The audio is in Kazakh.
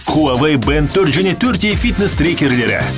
хуавей бэнд төрт және төрт е фитнес трекерлері